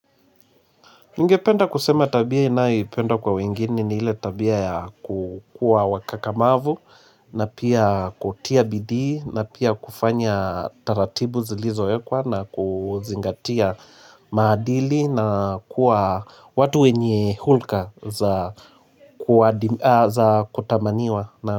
Ningependa kusema tabia ninayopenda kwa wengine ni ile tabia ya kukua wakakamavu na pia kutia bidii na pia kufanya taratibu zilizoekwa na kuzingatia maadili na kuwa watu wenye hulka za kutamaniwa na.